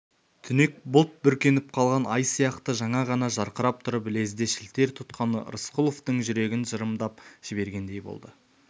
түнек бұлт бүркеніп қалған ай сияқты жаңа ғана жарқырап тұрып лезде шілтер тұтқаны рысқұловтың жүрегін жырымдап жібергендей болды